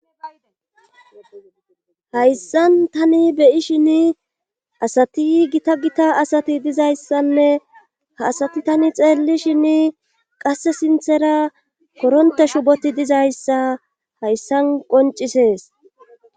hayssan tani beyi shin asati gita gita asati dizayssanne ha asati tani xeelli shin qasse sinthera koronte shuboti dizayssa hayssan qoncisees